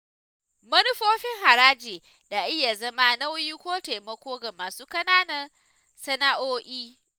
Manufofin haraji na iya zama nauyi ko taimako ga masu ƙananan sana’o’i.